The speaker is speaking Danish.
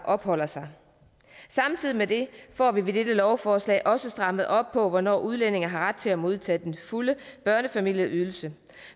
opholder sig samtidig med det får vi med dette lovforslag også strammet op på hvornår udlændinge har ret til at modtage den fulde børnefamilieydelse